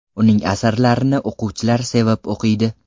Uning asarlarini o‘quvchilar sevib o‘qiydi.